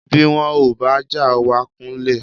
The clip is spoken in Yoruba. Bí wọn ò bá já wa kulẹ̀